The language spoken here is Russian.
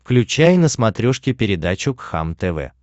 включай на смотрешке передачу кхлм тв